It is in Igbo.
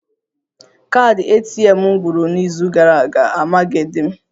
Kaadị ATM m gwụrụ n'izu gara aga, amaghịdị m